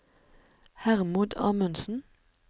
Hermod Amundsen